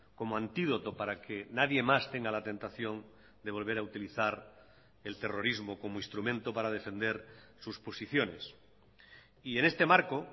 como antídoto para que nadie más tenga la tentación de volver a utilizar el terrorismo como instrumento para defender sus posiciones y en este marco